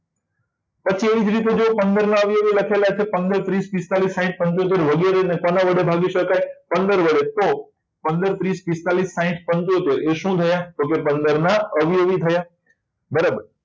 જો એવી રીતે પંદરના અવયવી લખ્યા છે પંદર થી પિસ્તાળીસ સાહિત પંચોતેર વગેરે કોના વડે ભાગી શકાય પંદર વડે તો પંદર ત્રીસ પિસ્તાળીસ સાહિઠ પંચોતેર ના અવયવી થયા બરાબર